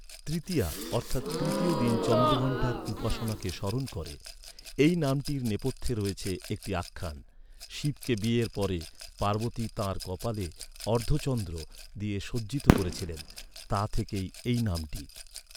তৃতীয়া অর্থাৎ তৃতীয় দিন চন্দ্রঘন্টার উপাসনাকে স্মরণ করে। এই নামটির নেপথ্যে রয়েছে একটি আখ্যান। শিবকে বিয়ের পরে পার্বতী তাঁর কপালে অর্ধচন্দ্র দিয়ে সজ্জিত করেছিলেন। তা থেকেই এই নামটি।